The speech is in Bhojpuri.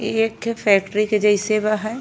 इ एक ठे फैक्ट्री के जइसे बा हैं।